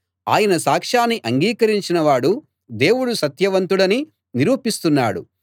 ఆయన సాక్షాన్ని అంగీకరించిన వాడు దేవుడు సత్యవంతుడని నిరూపిస్తున్నాడు